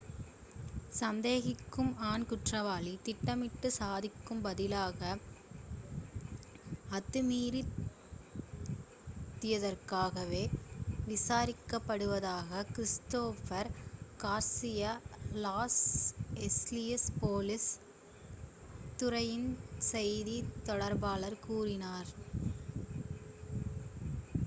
சந்தேகிக்கும் ஆண் குற்றவாளி திட்டமிட்ட சதிக்கு பதிலாக அத்துமீறியதற்காகவே விசாரிக்கப் படுவதாக Christopher Garcia Los Angeles police துறையின் செய்தித் தொடர்பாளர் கூறினார்